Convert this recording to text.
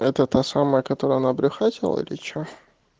это та самая которая она обрюхатила или что